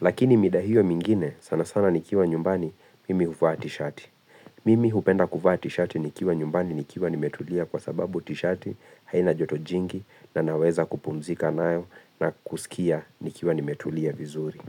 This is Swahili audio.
Lakini mida hio mingine sana sana nikiwa nyumbani mimi huvaa tishati. Mimi hupenda kuvaa tishati nikiwa nyumbani nikiwa nimetulia kwa sababu tishati haina joto jingi na naweza kupumzika nayo na kusikia nikiwa nimetulia vizuri.